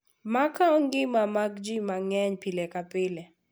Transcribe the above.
Ma kawo ngima mag ji mang’eny pile ka pile.